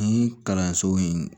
Ni kalanso in